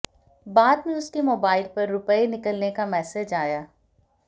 बाद में उसके मोबाइल पर रुपए निकलने का मैसेज आया